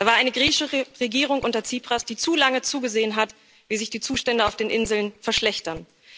Da war eine griechische Regierung unter Tsipras, die zu lange zugesehen hat, wie sich die Zustände auf den Inseln verschlechtern.